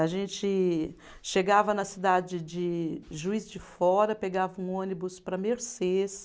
A gente chegava na cidade de Juiz de Fora, pegava um ônibus para Mercês